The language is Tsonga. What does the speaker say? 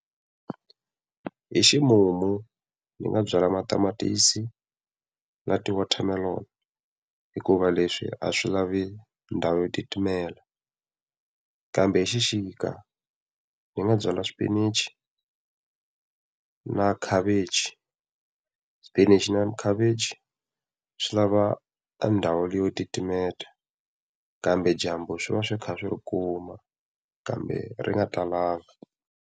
Hi ximumu ni nga byala matamatisi na ti-watermelon hikuva leswi a swi lavi ndhawu yo titimela. Kambe hi xixika ni nga byala xipinichi na khavichi. Xipinichi na khavichi swi lava endhawu leyo titimela, kambe dyambu swi va swi kha swi ri kuma kambe ri nga talanga.